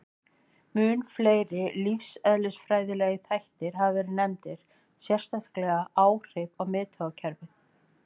Mun fleiri lífeðlisfræðilegir þættir hafa verið nefndir, sérstaklega áhrif á miðtaugakerfið.